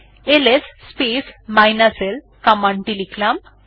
LS l command টি লিখলাম